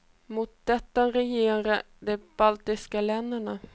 Mot detta reagerar de baltiska länderna.